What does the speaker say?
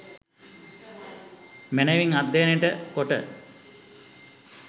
මැනවින් අධ්‍යයනයට කොට